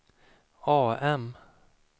AM